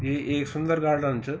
ये ऐक सुंदर गार्डन च।